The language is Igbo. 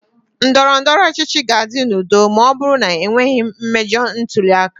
Ndọrọ ndọrọ ọchịchị ga-adị n'udo ma ọ bụrụ na e nweghị mmejọ ntuli aka.